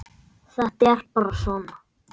Þetta er bara svona.